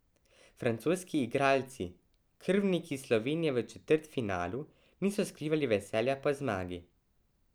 Francoski igralci, krvniki Slovenije v četrtfinalu, niso skrivali veselja po zmagi.